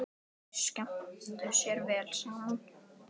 Þeir skemmtu sér vel saman.